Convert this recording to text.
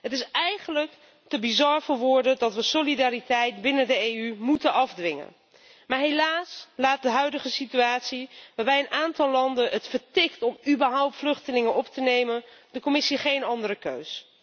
Het is eigenlijk te bizar voor woorden dat we solidariteit binnen de EU moeten afdwingen, maar helaas laat de huidige situatie, waarbij een aantal landen het vertikt om überhaupt vluchtelingen op te nemen, de Commissie geen andere keus.